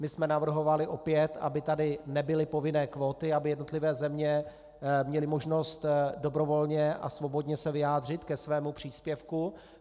My jsme navrhovali opět, aby tady nebyly povinné kvóty, aby jednotlivé země měly možnost dobrovolně a svobodně se vyjádřit ke svému příspěvku.